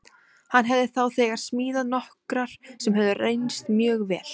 Hann hafði þá þegar smíðað nokkrar sem höfðu reynst mjög vel.